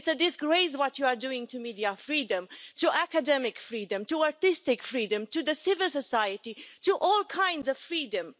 It's a disgrace what you are doing to media freedom, to academic freedom, to artistic freedom, to civil society, to all kinds of freedom.